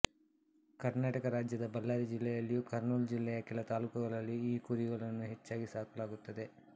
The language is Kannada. ಕರ್ನಾಟಕ ರಾಜ್ಯದ ಬಳ್ಳಾರಿ ಜಿಲ್ಲೆಯಲ್ಲಿಯೂ ಕರ್ನೂಲ್ ಜಿಲ್ಲೆಯ ಕೆಲ ತಾಲ್ಲೂಕುಗಳಲ್ಲಿಯೂ ಈ ಕುರಿಗಳನ್ನು ಹೆಚ್ಚಾಗಿ ಸಾಕಲಾಗುತ್ತದೆ